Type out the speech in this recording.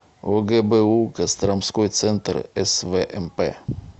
огбу костромской центр свмп